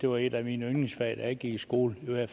var et af mine yndlingsfag da jeg gik i skole jeg